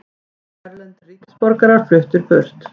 Erlendir ríkisborgarar fluttir burt